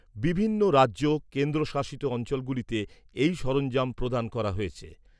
বিভিন্ন রাজ্য, কেন্দ্রশাসিত অঞ্চলগুলিতে এই সরঞ্জাম প্রদান করা হয়েছে।